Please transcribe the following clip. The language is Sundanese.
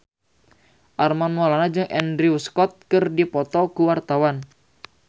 Armand Maulana jeung Andrew Scott keur dipoto ku wartawan